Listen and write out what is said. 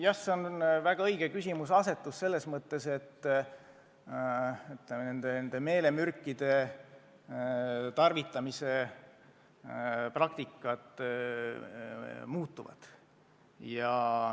Jah, see on väga õige küsimuseasetus selles mõttes, et ka meelemürkide probleemi käsitlemise praktikat tuleks muuta.